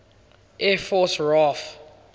air force raaf